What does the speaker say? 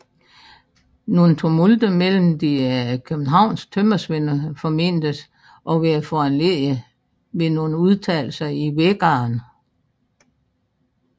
Nogle tumulter mellem de københavnske tømmersvende formentes at være foranledigede ved nogle udtalelser i Vækkeren